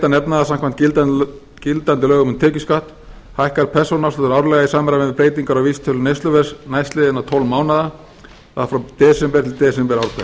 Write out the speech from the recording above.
að nefna að samkvæmt gildandi lögum um tekjuskatt hækkar persónuafsláttur árlega í samræmi við breytingar á vísitölu neysluverðs næstliðna tólf mánuði það er frá desember til desember ár hvert